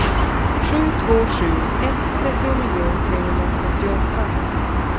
sju två sju ett trettionio trehundratrettioåtta